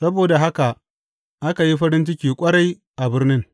Saboda haka aka yi farin ciki ƙwarai a birnin.